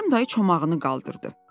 Kərim dayı çomağını qaldırdı.